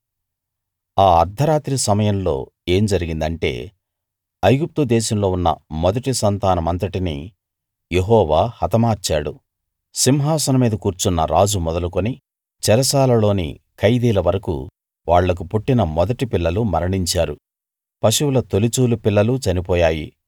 ఆ అర్థరాత్రి సమయంలో ఏం జరిగిందంటే ఐగుప్తు దేశంలో ఉన్న మొదటి సంతానమంతటినీ యెహోవా హతమార్చాడు సింహాసనం మీద కూర్చున్న రాజు మొదలుకుని చెరసాలలోని ఖైదీల వరకూ వాళ్ళకు పుట్టిన మొదటి పిల్లలు మరణించారు పశువుల తొలిచూలు పిల్లలు చనిపోయాయి